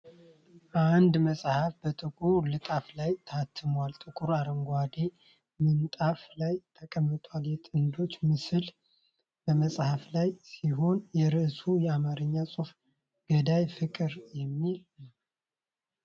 አንድ መጽሐፍ በጥቁር ልጣፍ ላይ ታትሞ ጥቁር አረንጓዴ ምንጣፍ ላይ ተቀምጧል። የጥንዶች ምስል በመጽሐፉ ላይ ሲሆን፣ የርዕሱ አማርኛ ጽሑፍ "ገዳይ ፍቅር" የሚል ነው።